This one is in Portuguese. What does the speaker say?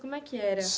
Como é que era?